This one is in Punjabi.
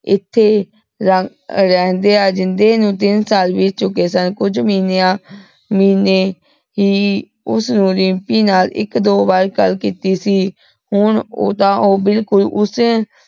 ਏਥ੍ਯਾ ਰੇਹ੍ਨ੍ਦੀਯਾਂ ਜਿੰਦੇ ਨੂ ਤੀਨ ਸਾਲ ਬੀਤ ਚੁਕੇ ਸਨ ਕੁਜ ਮਹਿੰਯਾਂ ਮਹੀਨੇ ਹੀ ਓਸਨੂ ਦਿਮ੍ਪੀ ਨਾਲ ਏਇਕ ਦੋ ਵਾਰ ਗਲ ਕੀਤੀ ਸੀ ਹਨ ਓਦਾ ਊ ਬਿਲਕੁਲ ਓਸ